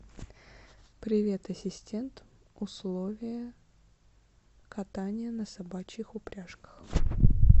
привет ассистент условия катания на собачьих упряжках